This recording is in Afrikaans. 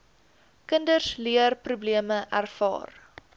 kinders leerprobleme ervaar